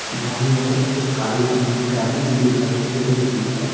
बाईं और एक काले रंग की गाड़ी भी दिखाई दे रही है।